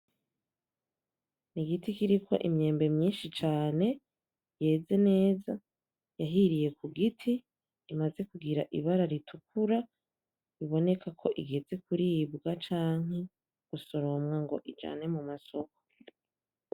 N'igiti kiriko imyembe myinshi cane yeze neza yahiriye ku giti, imaze kugira ibara ritukura, biboneka ko igeze kuribwa canke gusoromwa ngo ijanwe mu masoko.